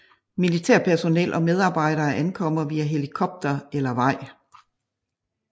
Militærpersonel og medarbejdere ankommer via helikopter eller vej